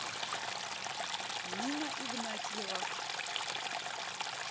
нина игнатьева